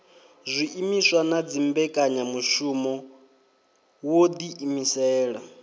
zwiimiswa na dzimbekanyamushumo wo ḓiimisela